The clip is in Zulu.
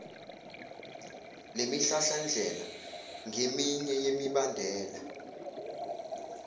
lemihlahlandlela ngeminye yemibandela